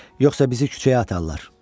Yoxsa bizi küçəyə atarlar.